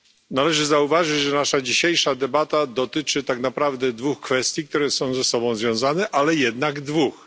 Należy zauważyć, że nasza dzisiejsza debata dotyczy tak naprawdę dwóch kwestii, które są ze sobą związane, ale jednak dwóch.